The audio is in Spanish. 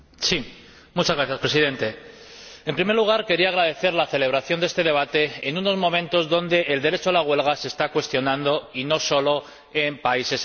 Señora Presidenta, en primer lugar, quería agradecer la celebración de este debate en unos momentos en los que el derecho a la huelga se está cuestionando, y no solo en países emergentes.